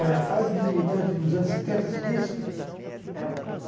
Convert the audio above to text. Olha, a fase de militante nos anos setenta, você diz?